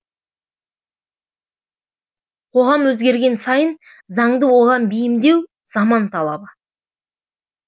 қоғам өзгерген сайын заңды оған бейімдеу заман талабы